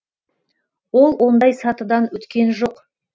ол ондай сатыдан өткен жоқ